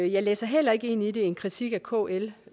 jeg læser heller ikke ind i det en kritik af kl